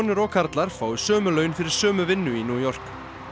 og karlar fái sömu laun fyrir sömu vinnu í New York